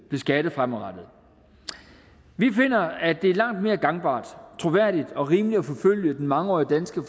beskattet fremadrettet vi finder at det er langt mere gangbart troværdigt og rimeligt at forfølge den mangeårige danske